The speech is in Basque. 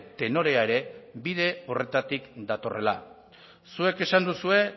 tenorea ere bide horretatik datorrela zuek esan duzue